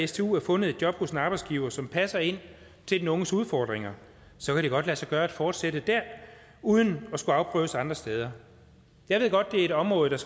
stu er fundet job hos en arbejdsgiver som passer ind til den unges udfordringer så kan det godt lade sig gøre at fortsætte der uden at skulle afprøves andre steder jeg ved godt det er et område der